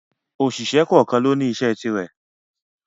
Òṣìṣẹ́ kọ́ọ̀kan lóní iṣẹ́ ti rẹ̀.